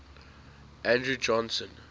andrew johnson